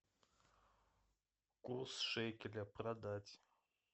курс шекеля продать